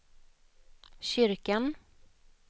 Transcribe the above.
kyrkan